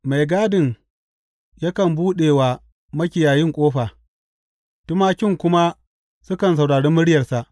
Mai gadin yakan buɗe wa makiyayin ƙofa, tumakin kuma sukan saurari muryarsa.